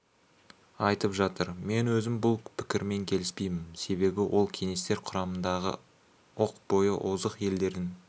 айтып жатыр мен өзім бұл пікірмен келіспеймін себебі ол кеңестер құрамындағы оқ бойы озық елдердің